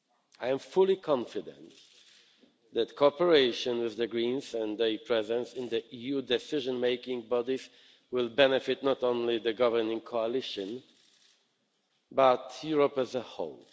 I am fully confident that cooperation with the Greens and their presence in the EU decision making bodies will benefit not only the governing coalition, but also Europe as a whole.